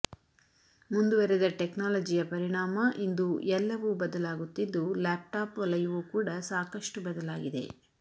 ಮುಂದುವರೆದ ಟೆಕ್ನಾಲಜಿಯ ಪರಿಣಾಮ ಇಂದು ಎಲ್ಲವೂ ಬದಲಾಗುತ್ತಿದ್ದು ಲ್ಯಾಪ್ಟಾಪ್ ವಲಯವೂ ಕೂಡ ಸಾಕಷ್ಟು ಬದಲಾಗಿದೆ